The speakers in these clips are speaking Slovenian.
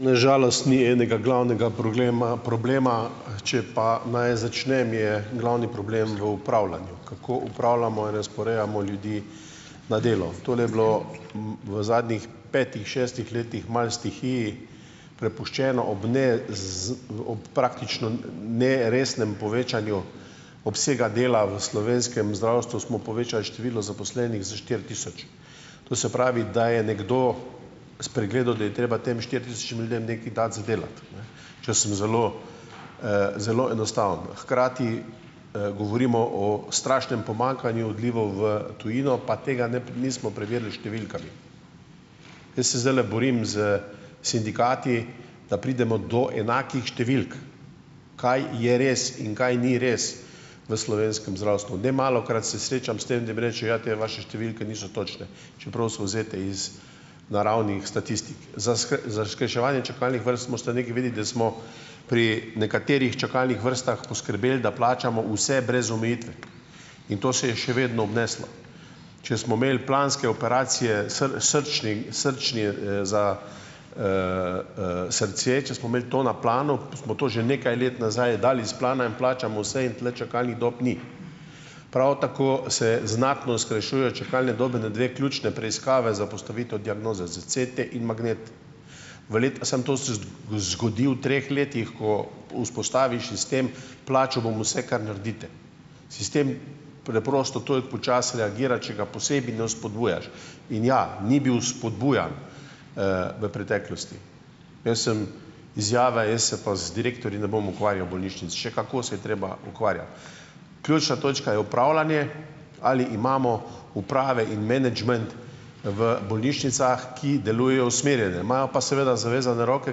Na žalost ni enega glavnega proglema problema. Če pa naj začnem, je glavni problem v upravljanju, kako upravljamo in razporejamo ljudi na delo. Tole je bilo, v zadnjih petih, šestih letih malo stihiji prepuščeno, ob ne ob praktično neresnem povečanju obsega dela v slovenskem zdravstvu smo povečali število zaposlenih za štiri tisoč. To se pravi, da je nekdo spregledal, da je treba tem štiri tisočim ljudem nekaj dati za delati, če sem zelo, zelo enostaven. Hkrati, govorimo o strašnem pomanjkanju odlivov v tujino, pa tega ne bi nismo preverili s številkami. Jaz se zdajle borim s sindikati, da pridemo do enakih številk. Kaj je res in kaj ni res v slovenskem zdravstvu? Nemalokrat se srečam s tem, da mi rečejo: "Ja, te vaše številke niso točne, čeprav so vzete iz naravnih statistik." Za za skrajševanje čakalnih vrst morate nekaj vedeti, da smo, pri nekaterih čakalnih vrstah poskrbeli, da plačamo vse, brez omejitve, in to se je še vedno obneslo. Če smo imeli planske operacije, srčni srčni, za, srce, če smo imeli to na planu, smo to že nekaj let nazaj dali s plana in plačamo vse in tule čakalnih dob ni. Prav tako se znatno skrajšujejo čakalne dobe na dve ključni preiskavi za postavitev diagnoze za CT in magnet. V samo to se zgodi v treh letih, ko vzpostaviš sistem - plačal bom vse, kar naredite. Sistem preprosto, to je počasi reagira, če ga posebej ne vzpodbujaš, in ja, ni bil vzpodbujan, v preteklosti. Jaz sem, izjava - jaz se pa z direktorji ne bom ukvarjal bolnišnic - še kako se je treba ukvarjati. Ključna točka je upravljanje - ali imamo uprave in menedžment v bolnišnicah, ki delujejo usmerjene? Imajo pa seveda zavezane roke,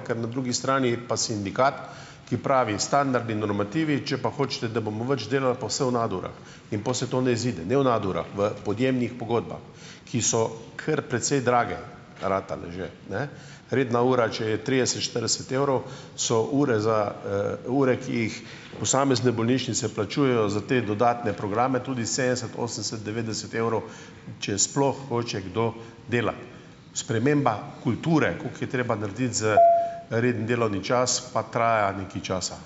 ker na drugi strani pa sindikat, ki pravi, standard in normativi, če pa hočete, da bomo več delali, pa vse v nadurah in pol se to ne izide. Ne v nadurah, v podjemnih pogodbah, ki so kar precej drage ratale že ne - redna ura, če je trideset, štirideset evrov, so ure za, ure, ki jih posamezne bolnišnice plačujejo za te dodatne programe tudi sedemdeset, osemdeset, devetdeset evrov, če sploh hoče kdo delati. Sprememba kulture, koliko je treba narediti za redni delovni čas, pa traja nekaj časa.